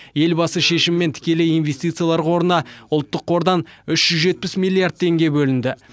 елбасы шешімімен тікелей инвестициялар қорына ұлттық қордан үш жүз жетпіс миллиард теңге бөлінді